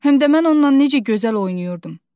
Həmdə mən onnan necə gözəl oynayırdım.